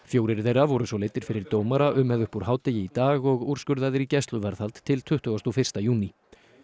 fjórir þeirra voru svo leiddir fyrir dómara um eða upp úr hádegi í dag og úrskurðaðir í gæsluvarðhald til tuttugasta og fyrsta júní